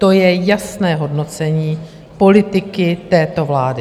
To je jasné hodnocení politiky této vlády.